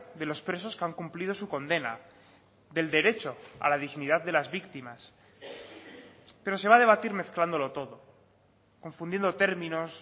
de los presos que han cumplido su condena del derecho a la dignidad de las víctimas pero se va a debatir mezclándolo todo confundiendo términos